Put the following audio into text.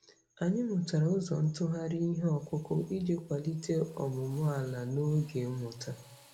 Anyị mụtara ụzọ ntụgharị ihe ọkụkụ iji kwalite ọmụmụ ala n'oge mmụta.